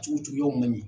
Cogojuguyaw man ɲi